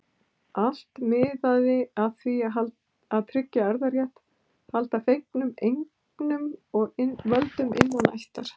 Allt miðaði að því að tryggja erfðarétt, halda fengnum eignum og völdum innan ættar.